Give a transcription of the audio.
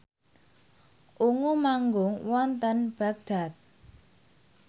Ungu manggung wonten Baghdad